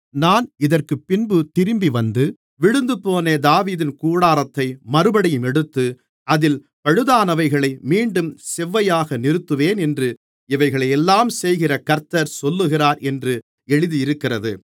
நான் இதற்குப்பின்பு திரும்பிவந்து விழுந்துபோன தாவீதின் கூடாரத்தை மறுபடியும் எடுத்து அதில் பழுதானவைகளை மீண்டும் செவ்வையாக நிறுத்துவேன் என்று இவைகளையெல்லாம் செய்கிற கர்த்தர் சொல்லுகிறார் என்று எழுதியிருக்கிறது